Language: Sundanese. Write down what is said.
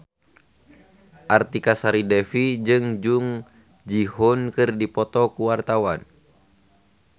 Artika Sari Devi jeung Jung Ji Hoon keur dipoto ku wartawan